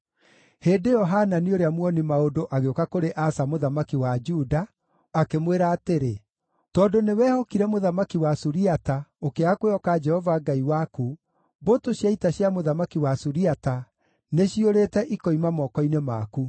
Hĩndĩ ĩyo Hanani ũrĩa muoni-maũndũ agĩũka kũrĩ Asa mũthamaki wa Juda, akĩmwĩra atĩrĩ, “Tondũ nĩwehokire mũthamaki wa Suriata ũkĩaga kwĩhoka Jehova Ngai waku, mbũtũ cia ita cia mũthamaki wa Suriata nĩciũrĩte ikoima moko-inĩ maku.